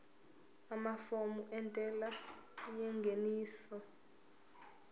amafomu entela yengeniso